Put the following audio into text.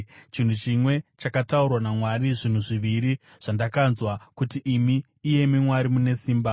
Chinhu chimwe chakataurwa naMwari, zvinhu zviviri zvandakanzwa: Kuti imi, iyemi Mwari, mune simba,